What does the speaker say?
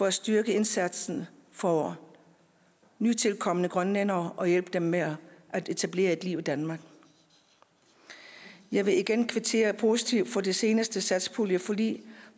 at styrke indsatsen for nytilkomne grønlændere og hjælpe dem med at etablere et liv i danmark jeg vil igen kvittere positivt for det seneste satspuljeforlig